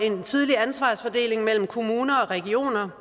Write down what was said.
en tydelig ansvarsfordeling mellem kommuner og regioner